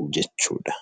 jechuudha.